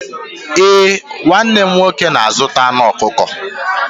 Ee, nwanne m nwoke na-azụta anụ ọkụkọ.